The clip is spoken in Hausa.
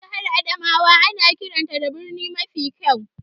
Jihar Adamawa ana kiranta da birni mafi kyau.